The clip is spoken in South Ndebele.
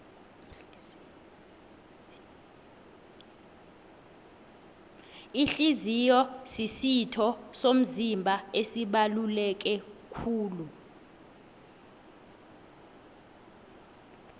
ihliziyo zisitho somzimba esibaluleke kulu